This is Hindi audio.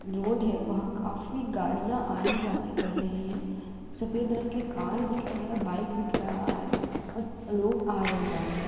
रोड है। वहाँ काफी गाड़ियाँ आने-जाने कर रही हैं। सफ़ेद रंग के कार दिख रहे हैं बाइक दिख रहा है अ और लोग आ रहे जा रहे हैं।